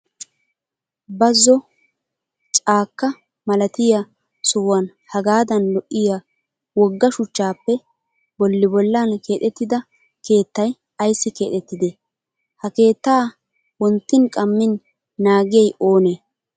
Bazzo caakkkaa malatiyaa sohuwaan hagaadan lo''iyaa wogga shuchchaappe bolli bollan keexettida keettayi ayissi keexettidee? Ha keettaa wonttin qammin naagiyayi oonee?